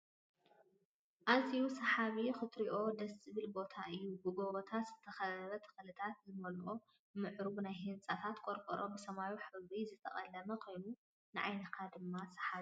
ኣዘዩ ስሓቢ ክትርእዮ ደስ ዝብል ቦታ እዩ። ብጎቦታት ዝተከበበን ተክልታት ዝመልኣ ምዕሩጉን ናይቲ ህንፃታት ቆርቆሮ ብሰማያዊ ሕብሪ ዝተቀለም ኮይኑ ንዓይንካ ድማ ስሓቢ እዩ።